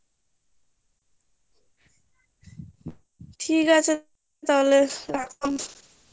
ঠিক আছে তাহলে রাখলাম